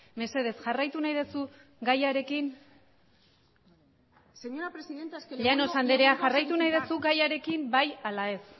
mesedez jarraitu nahi duzu gaiarekin señora presidenta esque llanos andrea jarraitu nahi duzu zure gaiarekin bai ala ez